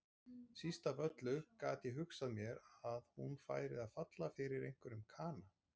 Síst af öllu gat ég hugsað mér að hún færi að falla fyrir einhverjum kana.